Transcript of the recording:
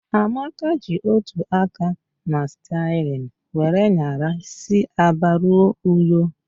Amaka ji otu aka na sterịn were nyara si Aba ruo Uyo